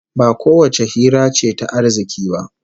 Ba kowace hira ce ta arziki ba